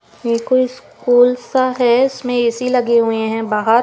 ये कोई स्कूल सा है इसमें ए_सी लगे हुए हैं बाहर।